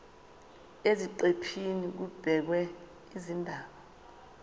eziqephini kubhekwe izindaba